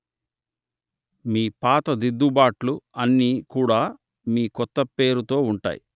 మీ పాత దిద్దుబాట్లు అన్ని కూడా మీ కొత్త పేరు తో ఉంటాయి